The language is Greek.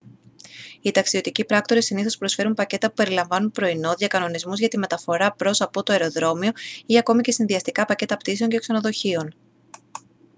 οι ταξιδιωτικοί πράκτορες συνήθως προσφέρουν πακέτα που περιλαμβάνουν πρωινό διακανονισμούς για τη μεταφορά προς/από το αεροδρόμιο ή ακόμη και συνδυαστικά πακέτα πτήσεων και ξενοδοχείων